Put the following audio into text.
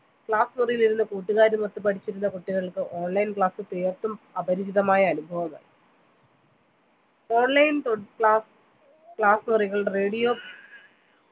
class മുറിയിൽ ഇരുന്ന് കൂട്ടുകാരുമൊത്ത് പഠിച്ചിരുന്ന കുട്ടികൾക്ക് online class തീർത്തും അപരിചിതമായ അനുഭവമാണ് online podclass class മുറികൾ radio